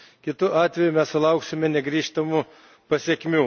Kitu atveju sulauksime negrįžtamų pasekmių.